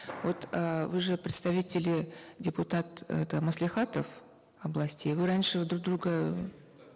вот эээ вы же представители депутат это маслихатов областей вы раньше друг друга